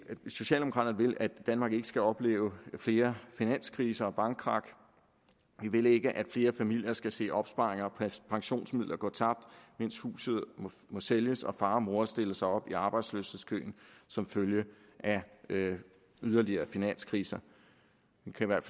socialdemokraterne vil at danmark ikke skal opleve flere finanskriser og bankkrak vi vil ikke at flere familier skal se opsparing og pensionsmidler gå tabt mens huset må sælges og far og mor stille sig op i arbejdsløshedskøen som følge af yderligere finanskriser